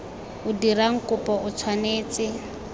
o dirang kopo o tshwanetse